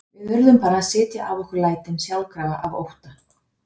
Við urðum bara að sitja af okkur lætin skjálfandi af ótta.